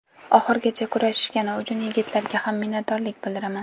Oxirigacha kurashishgani uchun yigitlarga ham minnatdorlik bildiraman.